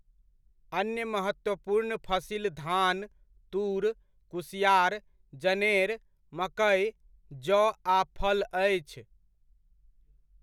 अन्य महत्त्वपूर्ण फसिल धान, तूर, कुसिआर, जनेर, मकै, जओ आ फल अछि।